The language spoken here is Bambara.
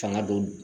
Fanga don